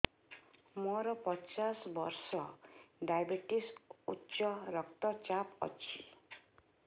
ମୋର ପଚାଶ ବର୍ଷ ଡାଏବେଟିସ ଉଚ୍ଚ ରକ୍ତ ଚାପ ଅଛି